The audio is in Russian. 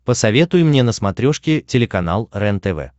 посоветуй мне на смотрешке телеканал рентв